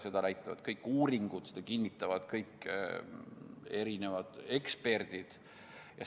Seda näitavad kõik uuringud, seda kinnitavad kõik eksperdid.